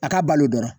A ka balo dɔrɔn